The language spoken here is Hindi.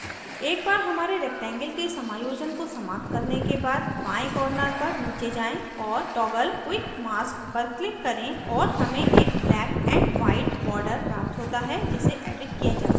एक बार हमारे rectangle के समायोजन को समाप्त करने के बाद बाएं corner पर नीचे जाएँ और toggle quick mask पर click करें और हमें एक black and white border प्राप्त होता है जिसे एडिट किया जा सकता है